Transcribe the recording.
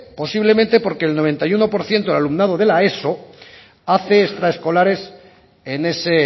posiblemente porque el noventa y uno por ciento del alumnado de la eso hace extraescolares en ese